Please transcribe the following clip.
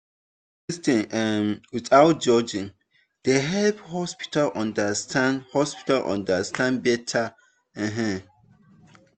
to lis ten um without judging dey help hospitals understand hospitals understand better. um